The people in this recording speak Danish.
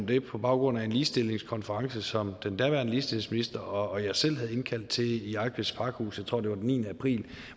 det på baggrund af en ligestillingskonference som den daværende ligestillingsminister og jeg selv havde indkaldt til i eigtveds pakhus jeg tror det var den niende april